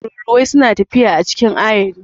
Tururuwai suna tafiya a cikin ayari.